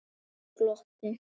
Þeir glottu.